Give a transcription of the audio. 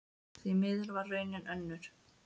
Því miður varð raunin önnur.